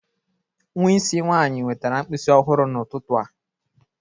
Nwa isi nwanyị wetara mkpịsị ọhụrụ n'ụtụtụ a